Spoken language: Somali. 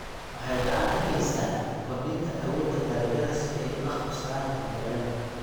Waxay gacan ka geystaan ????kordhinta awoodda dalagyada si ay ula qabsadaan isbeddellada.